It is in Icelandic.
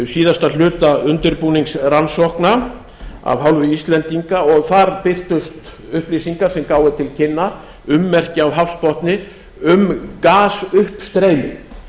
síðasta hluta undirbúningsrannsókna af hálfu íslendinga og þar birtust upplýsingar sem gáfu til kynna ummerki á hafsbotni um gasuppstreymi